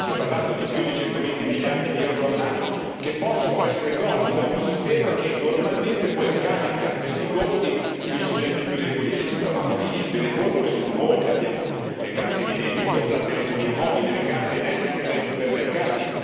Si è parlato di più di 120 miliardi di euro all'anno, che possono essere tolti da un sistema che normalmente poi carica questi costi sui soggetti più deboli che citavamo all'inizio e le formule sono molte, abbiamo le carte di debito, la telefonia mobile, le carte emesse anche dai supermercati.